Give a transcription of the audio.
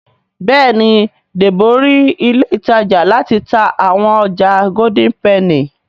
Béèni Debo rí ilé ìtajà láti tá àwọn ọjà Golden penny.